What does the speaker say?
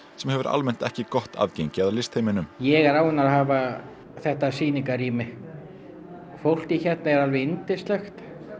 sem hefur almennt ekki gott aðgengi að ég er ánægður að hafa þetta sýningarrými fólkið hérna er alveg yndislegt